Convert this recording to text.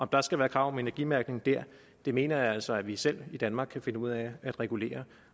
der skal være krav om energimærkning der mener jeg altså at vi selv i danmark kan finde ud af at regulere